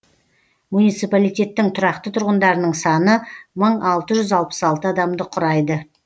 муниципалитеттің тұрақты тұрғындарының саны мың алты жүз алпыс алты адамды құрайды